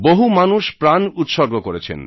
বহু মানুষ প্রাণ উৎসর্গ করেছেন